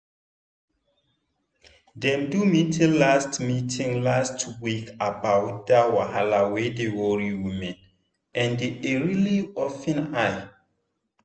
dem do meeting last meeting last week about that wahala wey dey worry women and e really open eye.